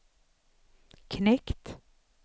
knekt